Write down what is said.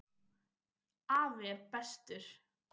Afi er bestur.